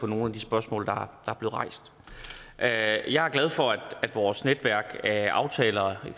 nogle af de spørgsmål der er jeg er glad for at vores netværk af aftaler i